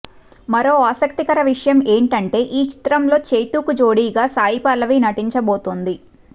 మరో ఆసక్తికర విషయం ఏంటంటే ఈ చిత్రంలో చైతూకి జోడిగా సాయి పల్లవి నటించబోతోంది